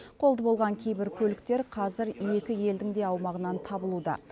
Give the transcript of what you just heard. қолды болған кейбір көліктер қазір екі елдің де аумағынан табылуда